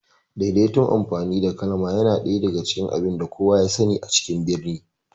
Daidaitun amfani da kalma yana daga cikin abinda kowa ya sani a cikin birni